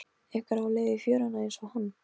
Einhver á leið í fjöruna einsog hann.